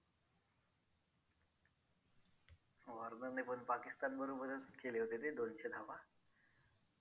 Foundation ये Foundation मध्ये पण दोन ते तीन प्रकार आहेत. आपल्याकड त्यातला तुम्हाला जो हवा ये तो घेऊ शकता तुम्ही